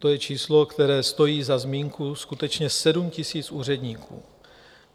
To je číslo, které stojí za zmínku, skutečně, 7 000 úředníků.